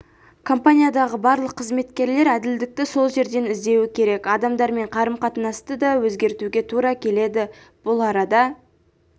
компаниядағы барлық қызметкерлер әділдікті сол жерден іздеуі керек адамдармен қарым-қатынасты да өзгертуге тура келеді бұл арада